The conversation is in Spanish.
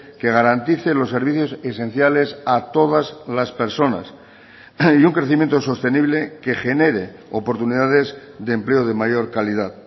que garantice los servicios esenciales a todas las personas y un crecimiento sostenible que genere oportunidades de empleo de mayor calidad